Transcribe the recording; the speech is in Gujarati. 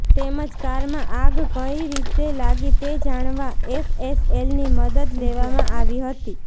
તેમજ કારમાં આગ કંઇ રીતે લાગી તે જાણવા એફએસએલની મદદ લેવામાં આવી હતી